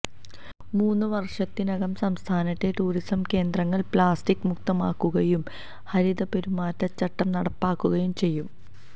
മൂന്നു വര്ഷത്തിനകം സംസ്ഥാനത്തെ ടൂറിസം കേന്ദ്രങ്ങള് പ്ലാസ്റ്റിക് മുക്തമാക്കുകയും ഹരിതപെരുമാറ്റച്ചട്ടം നടപ്പാക്കുകയും ചെയ്യും